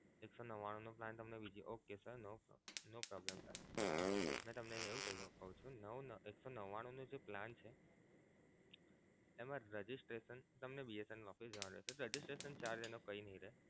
એક સો નવ્વાણું નો plan તમને બીજી વાર okay sir no problem sir મે તમને એવું કહું છું નવ ને એક સો નવ્વાણું નો જે plan છે એમા તમને registration BSNL office જવાનું રેહશે registration charge એનો કઈ નહીં રહે.